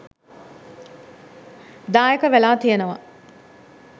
දායක වෙලා තියෙනවා.